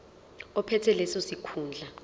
ophethe leso sikhundla